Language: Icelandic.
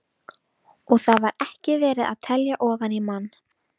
Og þar var ekki verið að telja ofan í mann.